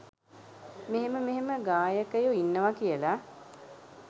මෙහෙම මෙහෙම ගායකයො ඉන්නවා කියල.